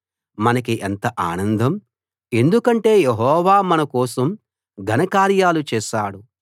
మనకి ఎంత ఆనందం ఎందుకంటే యెహోవా మన కోసం ఘన కార్యాలు చేశాడు